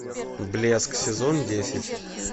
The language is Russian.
блеск сезон десять